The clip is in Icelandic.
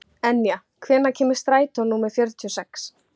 Enja, hvenær kemur strætó númer fjörutíu og sex?